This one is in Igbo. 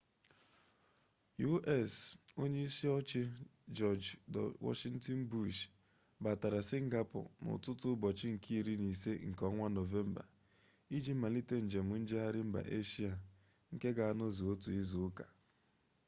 u.s. onye isi oche jiọj w bush batata singapọ n'ụtụtụ ụbọchị nke iri na isii nke ọnwa nọvemba iji malite njem njegharị mba eshia nke ga-anọzu otu izuụka